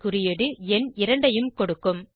குறியீடு எண் இரண்டையும் கொடுக்கும்